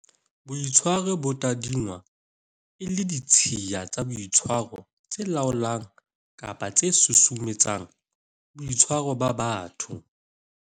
Boitshwaro bo tadingwa e le ditshiya tsa boitshwaro tse laolang kapa tse susumetsang boitshwaro ba batho.